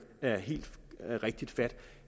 er helt rigtigt fat